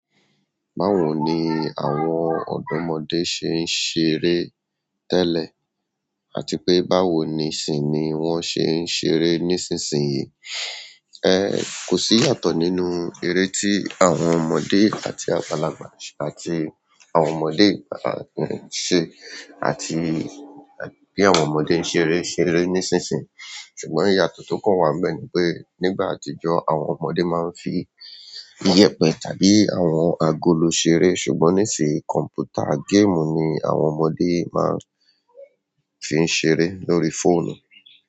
Báwo ni àwọn ọ̀dọ́mọdé ṣe ń ṣeré tẹ́lẹ̀ àti pé báwo nisini wọ́n ṣe ń ṣeré nísinsìnyí? Ẹ̀ kò sí yàtọ̀ nínú eré tí àwọn ọmọdé àti àgbàlagbà àti àwọn ọmọdé ṣe àti bí àwọn ọmọdé ń ṣeré ṣeré nísinsìnyí. Ṣùgbọ́n ìyàtọ̀ tó kàn wá níbẹ̀ ni pé nígbà àtijọ́ àwọn ọmọdé máa ń fi iyẹ̀pẹ tàbí àwọn agolo ṣeré ṣùgbọ́n nísìí kọ̀m̀pútà game ni àwọn ọmọdé máa ń fi ṣeré lórí fóònù.